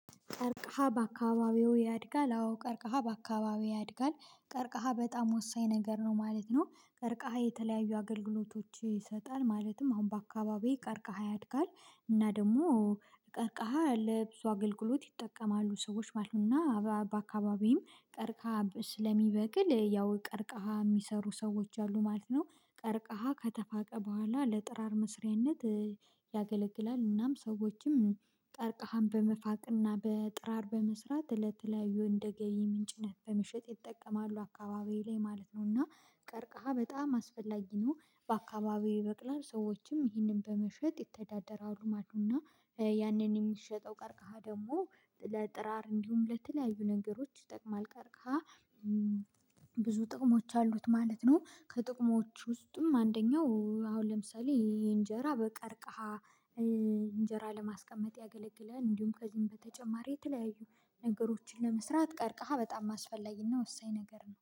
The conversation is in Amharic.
ቀርቅሃ በአካባቢው ያድጋል አዎ ቀርቅሃ በአካባቢው ያድጋል ቀርቅሃ በጣም ወሳኝ ነገር ነው ማለት ነው። ቀርቀሃ የተለያዩ አገልግሎቶች ይሰጣል ማለትም አሁን በአካባቢው ቀርቀሃ ያድጋል። እና ደግሞ ቀርቃሃ ለብዙ አገልግሎት ይጠቀማሉ ሰዎች ባህልና በአካባቢም ቀርቃሃ ስለሚበቅል ያው ቀርቃሃ የሚሰሩ ሰዎች አሉ ማለት ነው። ቀርቃሃ ከተፋቀ በኋላ ለጥራር መስሪያነት ያገለግላል። እናም ሰዎችም ቀርቅሃም በመፋቅና በጥራር በመስራት ለተለያዩ እንደገቢ ምንጭነት በመሸጥ ይጠቀማሉ አካባቢዬ ላይ ማለት ነውና። ቀርቀሃ በጣም አስፈላጊ ነው። በአካባቢው ይበቅላል ሰዎችም ይህንን በመሸጥ ይተዳደረሉ ማለት ነውና። ያንን የሚሸጠው ቀርቀሃ ደግሞ ለጥራር እንዲሁም ለተለያዩ ነገሮች ይጠቅማል ቀርቀሃ። ብዙ ጥቅሞች አሉት ማለት ነው ከጥቅሞች ውስጥም አንደኛው አሁን ለምሳሌ እንጀራ በቀርቃሃ እንጀራ ለማስቀመጥ ያገለግላል። እንዲሁም ከዚህም በተጨማሪ የተለያዩ ነገሮችን ለመስራት ቀርቀሃ በጣም አስፈላጊና ወሳኝ ነገር ነው